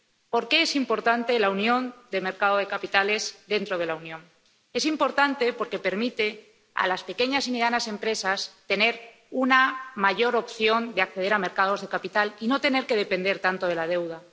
¿Por qué es importante la unión de los mercados de capitales dentro de la Unión? Es importante porque permite a las pequeñas y medianas empresas tener una mayor opción de acceder a mercados de capitales y no tener que depender tanto de la deuda.